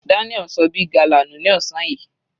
Daniel ṣọ big gala nù ní ọ̀sán yìí.